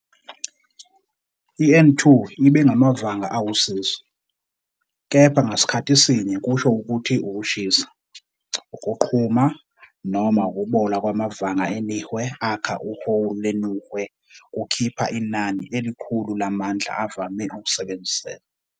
i-N2 ibe ngamavanga awusizo, kepha ngasikhathi sinye kusho ukuthi ukushisa, ukuqhuma, noma ukubola kwamavanga enihwe akha uhowi lwenuhwe kukhipha inani elikhulu lamandla avame ukusebenziseka.